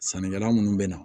Sannikɛla munnu bɛ na